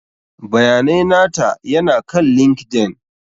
Bayanai nata ya na kan LinkedIn.